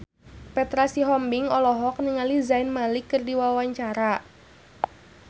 Petra Sihombing olohok ningali Zayn Malik keur diwawancara